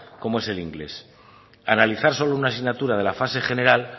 como es el inglés analizar solo una asignatura de la fase general